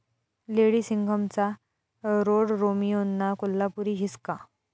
lady सिंघम'चा रोडरोमियोंना 'कोल्हापुरी हिसका'